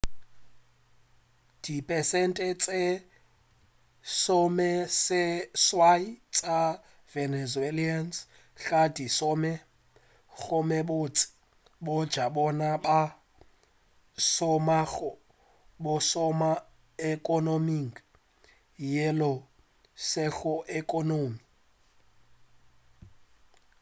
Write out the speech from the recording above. dipersente tše lesomeseswai tša venezuelans ga di šome gomme bontši bja bona ba šomago bo šoma ekonoming yeo e sego ekonomi